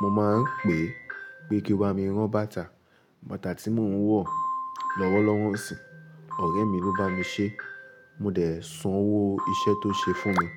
mo máa ń pè é pé kí ó bá mi rán bàtà. Bàtà tí mò ń wọ̀ lọ́wọ́lọ́wọ́ sìn, ọ̀rẹ́ mi ló bá mi ṣe. Mo dẹ̀ san owó iṣẹ́ tó ṣe fún mi.